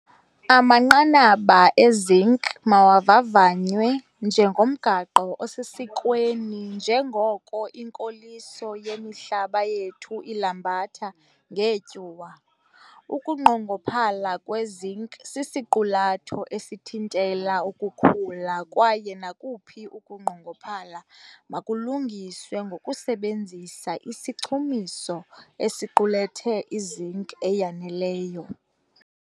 Amanqanaba eZinc mawavavanywe njengomgaqo osesikweni njengoko inkoliso yemihlaba yethu ilambatha ngeetyuwa. Ukunqongophala kweZinc sisiqulatho esithintela ukukhula kwaye nakuphi ukunqongophala malungiswe ngokusebenzisa isichumiso esiqulethe i-zinc eyaneleyo.